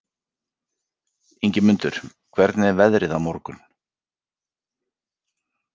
Ingimundur, hvernig er veðrið á morgun?